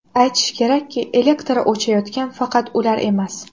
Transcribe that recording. Aytish kerakki, elektri o‘chayotgan faqat ular emas.